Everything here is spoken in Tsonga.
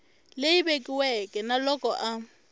leyi vekiweke na loko a